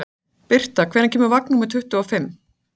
Birta, hvenær kemur vagn númer tuttugu og fimm?